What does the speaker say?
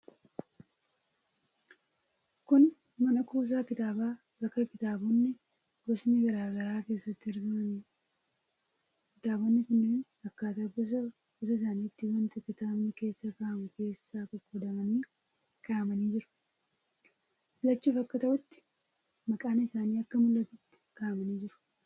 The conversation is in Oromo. Kun mana kuusaa kitaabaa bakka kitaabonni gosni garaa garaa keessatti argamaniidha. Kitaabonni kunneen akkaataa gosa gosa isaaniitti wanta kitaabni keessa kaa'amu keessa qoqqoodamanii kaa'amanii jiru. Filachuuf akka ta'utti maqaan isaanii akka mul'atutti kaa'amanii jiru.